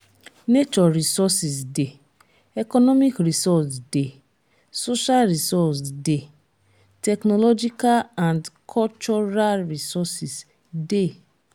nature resources de economic resource de social resource de technological and cultural resources de